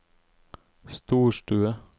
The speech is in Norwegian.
storstue